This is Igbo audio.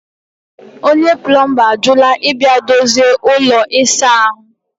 onye plọmba ajụla ịbịa dozie ụlọ ịsa ahụ